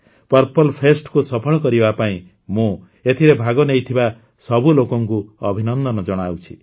purple ଫେଷ୍ଟକୁ ସଫଳ କରିବା ପାଇଁ ମୁଁ ଏଥିରେ ଭାଗ ନେଇଥିବା ସବୁ ଲୋକଙ୍କୁ ଅଭିନନ୍ଦନ ଜଣାଉଛି